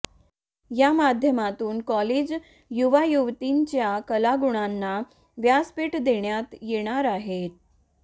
या माध्यमातून कॉलेज युवायुवतींच्या कलागुणांना व्यासपीठ देण्यात येणार आहे